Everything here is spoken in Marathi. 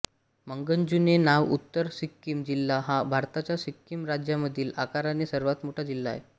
मंगन जुने नाव उत्तर सिक्कीम जिल्हा हा भारताच्या सिक्कीम राज्यामधील आकाराने सर्वात मोठा जिल्हा आहे